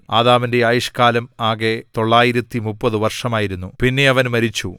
ആദാമിന്റെ ആയുഷ്കാലം ആകെ 930 വർഷമായിരുന്നു പിന്നെ അവൻ മരിച്ചു